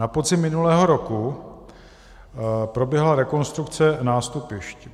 Na podzim minulého roku proběhla rekonstrukce nástupišť.